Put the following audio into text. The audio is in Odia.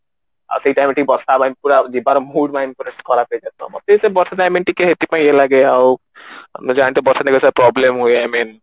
ଆଉ ସେଇ ରେ ଟିକେ ବର୍ଷା ପୁରା ଯିବାର mood ଖରାପ ହେଇଯାଏ ତ ମତେ ବର୍ଷା time ଟିକେ ସେଥିପାଇଁ ଇଏ ଲାଗେ ଅଉ ମୁଁ ଜାଣିବାରେ ବର୍ଷା ଦିନ ସାରା problem ହୁଏ